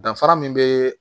Danfara min bɛ